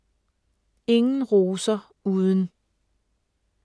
Ingen roser uden …